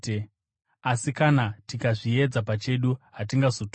Asi kana tikazviedza pachedu, hatingazotongwi.